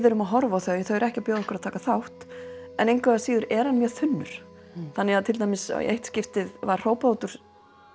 erum að horfa á þau þau eru ekki að bjóða okkur að taka þátt en engu að síður er hann mjög þunnur í eitt skiptið var hrópað út úr